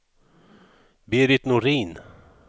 Berit Norin